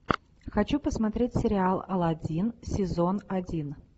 хочу посмотреть сериал аладдин сезон один